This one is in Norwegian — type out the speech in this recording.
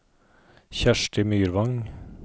Kjersti Myrvang